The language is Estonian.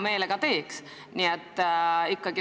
Minu meelest on väga normaalne, et Riigikogu esimees sellise kirja tegi.